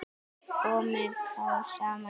Komu þá saman í